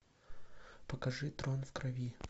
покажи трон в крови